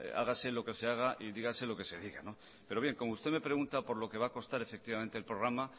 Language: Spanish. hágase lo que se haga y dígase lo que se diga pero bien como usted me pregunta por lo que va a costar efectivamente el programa